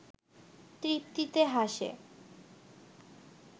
তৃপ্তিতে হাসে